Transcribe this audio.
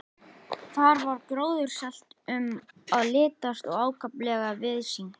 Þar var gróðursælt um að litast og ákaflega víðsýnt.